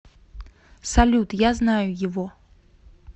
салют я знаю его